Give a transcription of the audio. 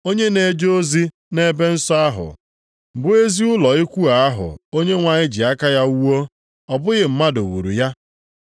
Onye na-eje ozi nʼebe nsọ ahụ, bụ ezi ụlọ ikwu ahụ Onyenwe anyị ji aka ya wuo, ọ bụghị mmadụ wuru ya.